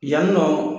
Yanni nɔ